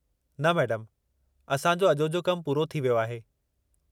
न, मैडमु, असां जो अॼोजो कमु पूरो थी वियो आहे।